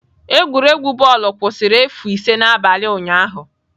Egwuregwu bọọlụ kwụsịrị efu ise n'abalị ụnyahụ.